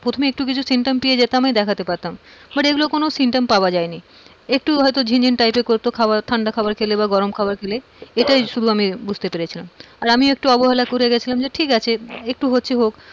প্রথমে একটু কিছু symptom পেয়ে যেতাম আমি দেখাতে পারতাম but এগুলো কোন symptom পাওয়া যায়নি। একটু হয়তো ঝিনঝিন type করতো ঠান্ডা খাবার খেলে গরম খাবার খেলে এটাই শুধু আমি বুঝতে পেরেছিলাম। আর আমিও একটা অবহেলা করে গেছিলাম যে ঠিক আছে, একটু হচ্ছে হোক,